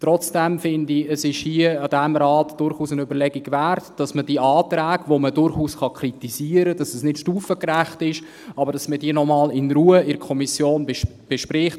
Trotzdem denke ich, es wäre hier im Rat durchaus eine Überlegung wert, dass man die Anträge, bei denen man durchaus kritisieren kann, dass sie nicht stufengerecht sind, noch einmal in Ruhe in der Kommission bespricht.